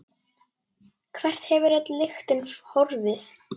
Hvert hefur öll lyktin horfið?